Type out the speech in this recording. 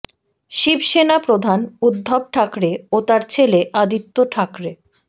শিবসেনা প্রধান উদ্ধব ঠাকরে ও তাঁর ছেলে আদিত্য ঠাকরে